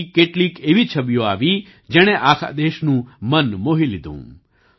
જમ્મુકાશ્મીરથી કેટલીક એવી છબીઓ આવી જેણે આખા દેશનું મન મોહી લીધું